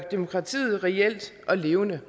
demokratiet reelt og levende